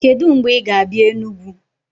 Kedụ mgbe ị ga-abịa Enugwu?